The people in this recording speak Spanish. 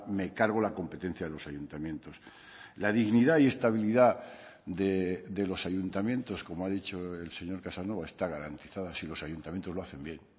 me cargo la competencia de los ayuntamientos la dignidad y estabilidad de los ayuntamientos como ha dicho el señor casanova está garantizada si los ayuntamientos lo hacen bien